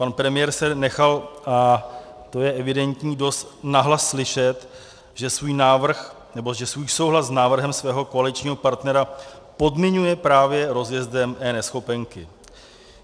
Pan premiér se nechal, a to je evidentní, dost nahlas slyšet, že svůj souhlas s návrhem svého koaličního partnera podmiňuje právě rozjezdem eNeschopenky.